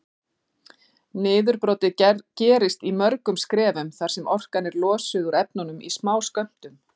Niðurbrotið gerist í mörgum skrefum þar sem orkan er losuð úr efnunum í smáskömmtum.